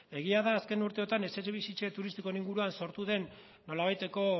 egia da azken urte hauetan etxebizitza turistikoen inguruan sortu den nolabaiteko